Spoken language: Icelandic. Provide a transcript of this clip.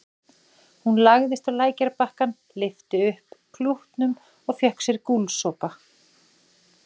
Hún lagðist á lækjarbakkann, lyfti upp klútnum og fékk sér gúlsopa.